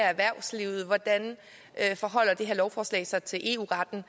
erhvervslivet hvordan lovforslaget forholder sig til eu retten